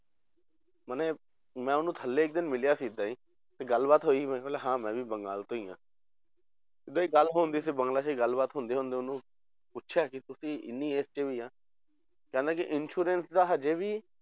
ਮਨੇ ਮੈਂ ਉਹਨੂੰ ਥੱਲੇ ਇੱਕ ਦਿਨ ਮਿਲਿਆ ਸੀ ਏਦਾਂ ਹੀ ਤੇ ਗੱਲ ਬਾਤ ਹੋਈ ਮੈਂ ਬੋਲਿਆ ਹਾਂ ਮੈਂ ਵੀ ਬੰਗਾਲ ਤੋਂ ਹੀ ਹਾਂ ਏਦਾਂ ਹੀ ਗੱਲ ਹੁੰਦੀ ਸੀ ਬੰਗਲਾ 'ਚ ਹੀ ਗੱਲਬਾਤ ਹੁੰਦੇ ਹੁੰਦੇ ਉਹਨੂੰ ਪੁੱਛਿਆ ਕਿ ਤੁਸੀਂ ਇੰਨੀ age 'ਚ ਵੀ ਆ, ਕਹਿੰਦਾ ਕਿ insurance ਦਾ ਹਜੇ ਵੀ